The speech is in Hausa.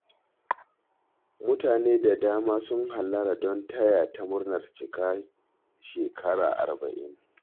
Mutane da dama sun hallara don taya ta murnar cika shekara arba'in